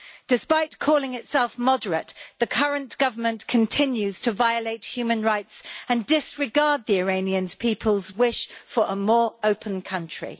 Despite calling itself moderate, the current government continues to violate human rights and disregard the Iranian people's wish for a more open country.